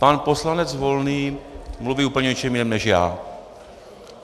Pan poslanec Volný mluví úplně o něčem jiném než já.